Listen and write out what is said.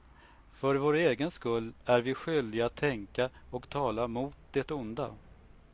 För vår egen skull är vi skyldiga att tänka och tala mot det onda.